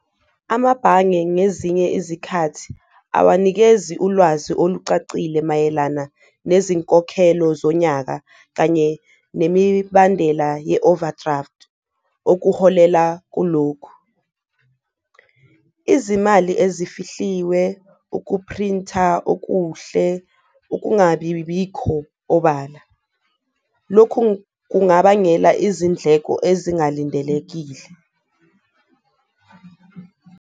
Amabhange ngezinye izikhathi awanikezi ulwazi olucacile mayelana nezinkokhelo zonyaka kanye nemibandela ye-overdraft kkuholela kulokhu, izimali ezifihliwe, ukuphrinta okuhle, ukungabi bikho obala. Lokhu kungabangela izindleko ezingalindelekile.